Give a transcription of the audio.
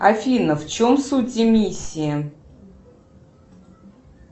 афина в чем суть эмиссии